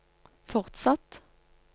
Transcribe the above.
fortsatt